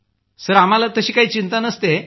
sir आम्हाला काही चिंता नसते